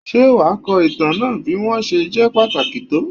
Ṣé wàá ko ìtàn náà bí wọ́n ṣe jẹ́ pàtàkì tó?